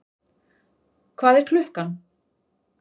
Hvað er klukkan?